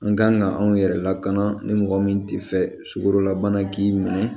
An kan ka anw yɛrɛ lakana ni mɔgɔ min tɛ fɛ sukorolabana k'i minɛ